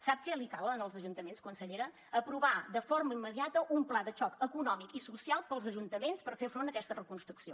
sap que li calen als ajuntaments consellera aprovar de forma immediata un pla de xoc econòmic i social per als ajuntaments per fer front a aquesta reconstrucció